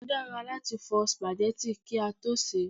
Ó dára láti fọ spaghetti kí a tó sè é